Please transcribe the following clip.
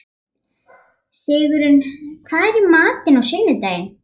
Sigurunn, hvað er í matinn á sunnudaginn?